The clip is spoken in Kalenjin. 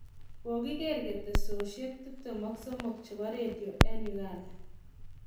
Kokiger ketesosiek 23 che bo redio eng Uganda.